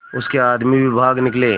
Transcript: उसके आदमी भी भाग निकले